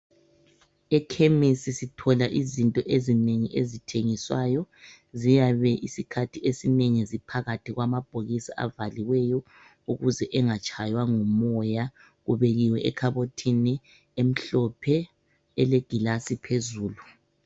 Ekhemisi sithola izinto ezinengi ezithengiswayo ziyabe isikhathi esinengi ziphakathi kwamabhokisi avaliweyo ukuze engatshaywa ngumoya ebekiwe ekhabothini emhlophe elegilasi phezulu.